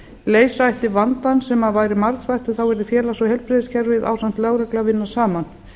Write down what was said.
leysa ætti vandann sem væri margþættur yrði félags og heilbrigðiskerfið ásamt lögreglu að vinna saman